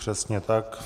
Přesně tak.